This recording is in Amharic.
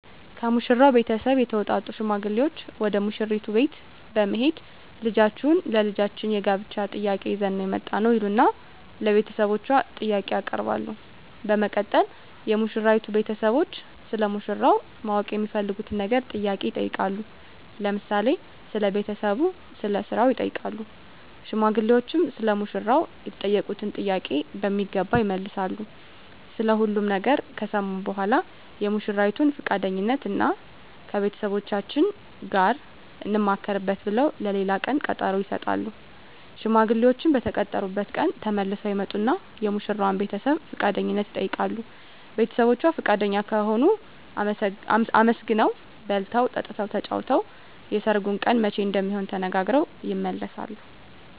ከሙሽራው ቤተሰብ የተውጣጡ ሽማግሌዎች ወደ ሙሽራይቱ ቤት በመሄድ ልጃችሁን ለልጃችን የጋብቻ ጥያቄ ይዘን ነው የመጣነው ይሉና ለቤተሰቦቿ ጥያቄ ያቀርባሉ በመቀጠል የሙሽራይቱ ቤተሰቦች ስለ ሙሽራው ማወቅ የሚፈልጉትን ነገር ጥያቄ ይጠይቃሉ ለምሳሌ ስለ ቤተሰቡ ስለ ስራው ይጠይቃሉ ሽማግሌዎችም ሰለ ሙሽራው የተጠየቁትን ጥያቄ በሚገባ ይመልሳሉ ስለ ሁሉም ነገር ከሰሙ በኃላ የሙሽራይቱን ፍቃደኝነት እና ከቤተሰቦቻችን ጋር እንማከርበት ብለው ለሌላ ቀን ቀጠሮ ይሰጣሉ። ሽማግሌዎችም በተቀጠሩበት ቀን ተመልሰው ይመጡና የሙሽራዋን ቤተሰብ ፍቃደኝነት ይጠይቃሉ ቤተሰቦቿ ፍቃደኛ ከሆኑ አመስግነው በልተው ጠጥተው ተጫውተው የሰርጉ ቀን መቼ እንደሚሆን ተነጋግረው ይመለሳሉ።